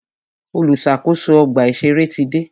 Olùṣàkóso ọgbà ìṣẹ̀rẹ́ ti dé.